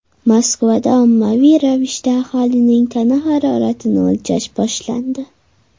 Moskvada ommaviy ravishda aholining tana haroratini o‘lchash boshlandi.